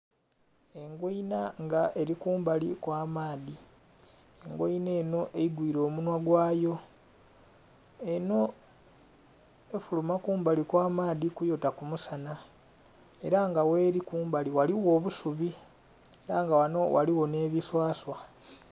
Engweinha nga eri kubaku okw'amaadhi, engweinha enho egwiire omunhwa gwayo enho efuluma kumbali okw'amaadhi kuyota kumu sanha era nga gheli kumbali ghaligho obusubi era nga ghanho ghaligho nhe biswaswa.